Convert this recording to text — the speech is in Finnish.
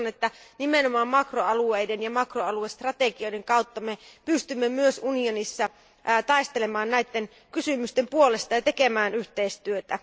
Uskon, että nimenomaan makroalueiden ja makroaluestrategioiden kautta pystymme myös unionissa taistelemaan näiden kysymysten puolesta ja tekemään yhteistyötä.